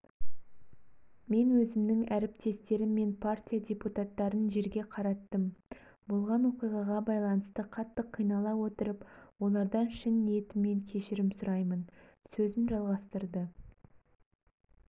мен өзімнің әріптестерім мен партия депутаттарын жерге қараттым болған оқиғаға байланысты қатты қинала отырып олардан шын ниетіммен кешірім сұраймын сөзін жалғастырды